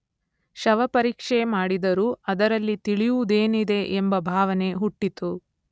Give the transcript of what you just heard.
ಶವಪರೀಕ್ಷೆ ಮಾಡಿದರೂ ಅದರಲ್ಲಿ ತಿಳಿಯುವುದೇನಿದೆ ಎಂಬ ಭಾವನೆ ಹುಟ್ಟಿತು.